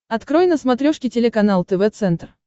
открой на смотрешке телеканал тв центр